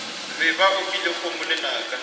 be ba opile kgomo lenaka